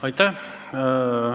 Aitäh!